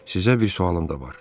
Sizə bir sualım da var.